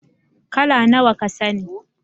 How many colors do you know